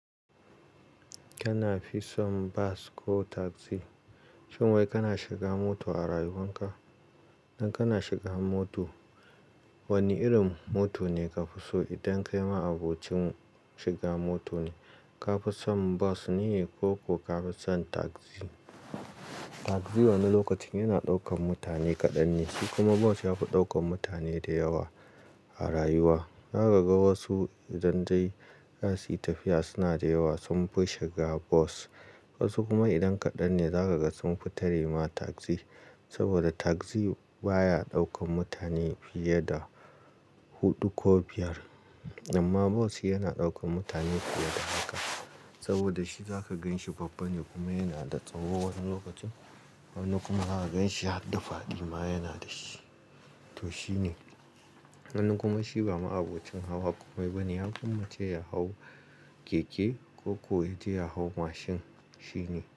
Kana fi son bas ko taxi? Shin wai kana shiga mota a rayuwan ka? Idan kana shiga mota, wane irin mota ne ka fi so? Idan kai ma'abocin shiga mota ne, ka fi son bas ne ko ka fi son taxi? Taxi wani lokacin yana ɗaukan mutane kaɗan ne, shi kuma bas yafi ɗaukan mutane da yawa a rayuwa. Za ka ga wasu idan zai yi tafiya suna da yawa sun fi shiga bas. Wasu kuma idan kaɗan ne, za ka ga sun fi tare ma tagzi. Saboda tagzi baya ɗaukan mutane fiye da huɗu ko biyar. Amma bas yana ɗaukan mutane fiye da haka. Saboda shi za ka ganshi babba ne kuma yana da tsaho wasu lokacin. Wani kuma za ka ganshi hadda faɗima yana da shi. To shine. Wani kuma shi ba ma'abocin hawa kome ba ne, ya ƙwammace ya hau keke ko kuwa ya hau mashin. Shine.